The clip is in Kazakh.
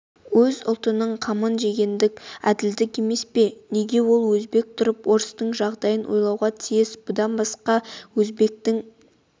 өз ұлтының қамын жегендік әділдік емес пе неге ол өзбек тұрып орыстың жағдайын ойлауға тиіс бұдан басқа өзбектің